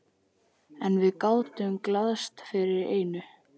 En við gátum glaðst yfir einu.